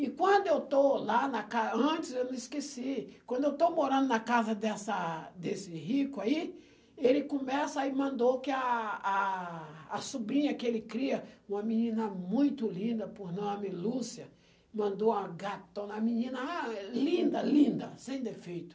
E quando eu estou lá na ca, antes eu não esqueci, quando eu estou morando na casa dessa desse rico aí, ele começa e mandou que a a a sobrinha que ele cria, uma menina muito linda por nome Lúcia, mandou uma gatona, uma menina a linda, linda, sem defeito.